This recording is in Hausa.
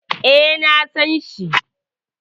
E, na san shi.